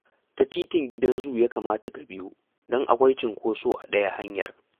Ta Titin Gidan Zu ya kamata ka biyo, don akwai cinkoso a ɗaya hanyar